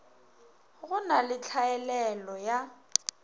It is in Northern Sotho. go na le tlhaelelo ya